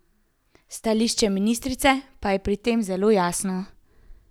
Stališče ministrice pa je pri tem zelo jasno.